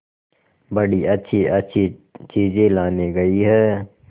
बड़ी अच्छीअच्छी चीजें लाने गई है